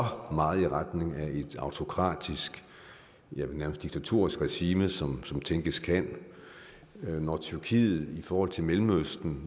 meget i retning af et autokratisk nærmest diktatorisk regime som som tænkes kan og når tyrkiet i forhold til mellemøsten